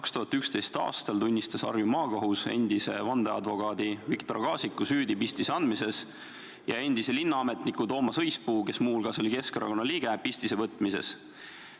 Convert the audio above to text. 2011. aastal tunnistas Harju Maakohus endise vandeadvokaadi Viktor Kaasiku süüdi pistise andmises ja endise linnaametniku Toomas Õispuu, kes muuhulgas oli Keskerakonna liige, pistise võtmises.